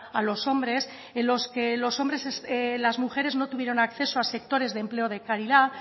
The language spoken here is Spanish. a los hombres en los que las mujeres no tuvieron acceso a sectores de empleo de calidad